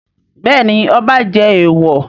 Bẹ́ẹ̀ ni, ọba jẹ èèwọ̀.